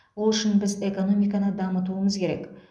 ол үшін біз экономиканы дамытуымыз керек